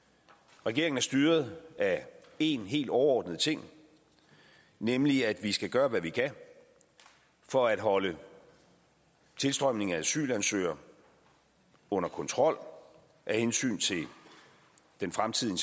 regeringen er styret af én helt overordnet ting nemlig at vi skal gøre hvad vi kan for at holde tilstrømningen af asylansøgere under kontrol af hensyn til den fremtidige